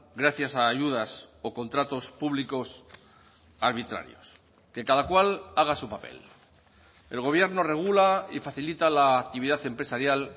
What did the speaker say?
gracias a ayudas o contratos públicos arbitrarios que cada cual haga su papel el gobierno regula y facilita la actividad empresarial